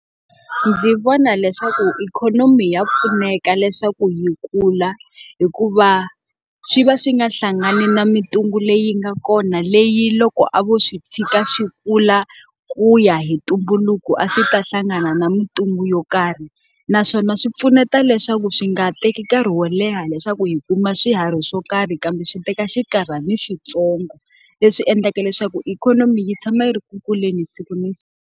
Ndzi vona leswaku ikhonomi ya pfuneka leswaku yi kula, hikuva swi va swi nga hlangani na mintungu leyi nga kona leyi loko a vo swi tshika swi kula ku ya hi ntumbuluko a swi ta hlangana na mintungu yo karhi. Naswona swi pfuneta leswaku swi nga teki nkarhi wo leha leswaku hi kuma swiharhi swo karhi kambe swi teka xinkarhana swintsongo. Leswi endlaka leswaku ikhonomi yi tshama yi ri ku kuleni siku na siku.